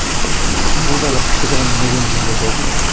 иии меніңше бұл да бір кішігірім неден кейін болды ау деймін бір